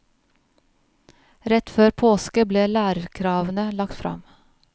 Rett før påske ble lærerkravene lagt frem.